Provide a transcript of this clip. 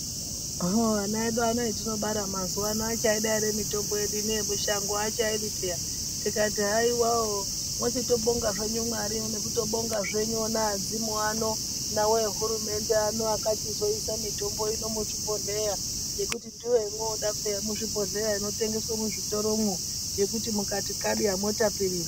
Hoo ana edu atinobara mazuwano achaida ere mitombo yedu ine yekushango aachaidi peya , tikati haiwawo mwochitobonga zvenyu Mwari nekutobonga zvenyu ona adzimu ano , nawo ehurumende ano akachizoisa mitombo ino muchibhodhleya ngekuti ndiyo yomoda peya yemuzvibhodhleya inotengeswa muzvitoromwo yekuti mukati kada mwotapirirwa.